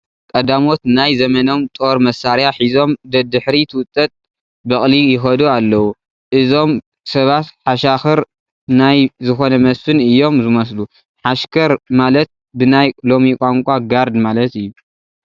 ቀዳሞት ናይ ዘመኖም ጦር መሳርያ ሒዞም ደድሕሪ ትውጠጥ በቕሊ ይኸዱ ኣለዉ፡፡ እዞም ሰባት ሓሻኽር ናይ ዝኾነ መስፍን እዮም ዝመስሉ፡፡ ሓሽከር ማለት ብናይ ሎሚ ቋንቋ ጋርድ ማለት እዩ፡፡